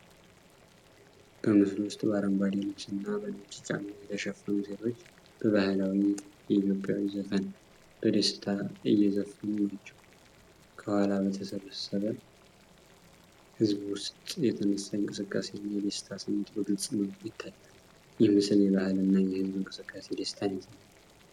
በምስሉ ውስጥ በአረንጓዴ ልብስ እና በነጭ ጫማ የተሸፈኑ ሴቶች በባህላዊ የኢትዮጵያ ዘፈን በደስታ እየዘፈኑ ናቸው። ከኋላ በተሰበሰበ ህዝብ ውስጥ የተነሳ የእንቅስቃሴ እና የደስታ ስሜት በግልጽ መልኩ ይታያል። ይህ ምስል የባህል እና የህዝብ እንቅስቃሴ ደስታን ያሳያል።